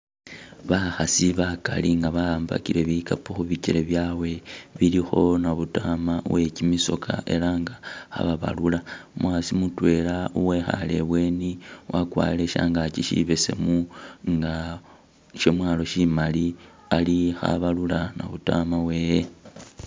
Bakhasi bakaali nga waambakile bikappo khumichele byabwe khulikho nabutama wekimisoka elah nga khababalula umukhasi mutwela wekhaale ebweni wakwarile shangaki sibesemu nga shamwalo shimali khabalula nabutama wewe